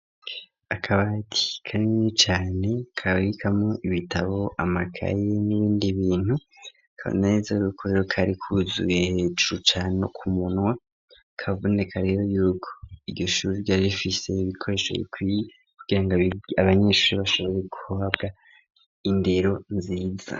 akabati karini cane kabikamwo ibitabo amakaye n'ibindi bintu akameza kaboneka yuko kari kuzuye hejuru cane no ku munwa kaboneka rero yuko iryo shuri ryari rifise ibikoresho bikwiye kubera ko abanyeshuri bashoboye guhabwa indero nziza